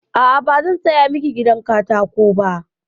A'a, ba zan saya miki gidan katako ba.